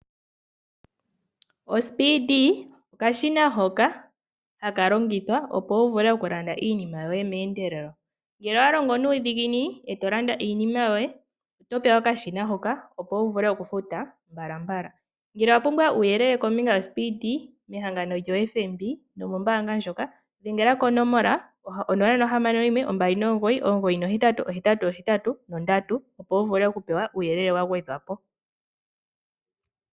Ospeedy okashina hoka haka longithwa opo wu vule okulanda iinima yoye meendelelo. Ngele owalongo nuudhiginini etolanda iinima yoye otopewa okashina hoka opo wuvule okufuta mbalambala. Ngele owapumbwa uuyelele kombinga yospeedy mehangano lyoFNB nomombaanga ndjoka dhengela konomola 0612998883 opo wuvule okupewa uuyelele wagwedhwapo.